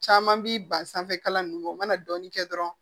Caman bi ban sanfɛ kalan ninnu o mana dɔɔni kɛ dɔrɔn